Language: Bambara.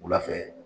Wula fɛ